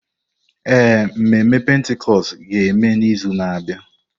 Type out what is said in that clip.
Ee, mmemme Pentikọst ga-eme n'izu na-abịa.